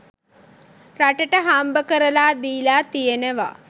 රටට හම්බකරලා දීලා තියෙනවා.